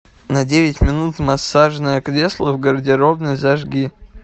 на девять минут массажное кресло в гардеробной зажги